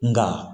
Nka